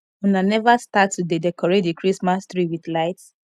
una never start to dey decorate the christmas tree with lights